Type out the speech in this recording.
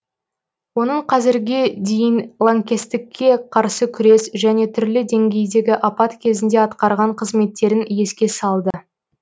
оның қазірге дейін лаңкестікке қарсы күрес және түрлі деңгейдегі апат кезінде атқарған қызметтерін еске салды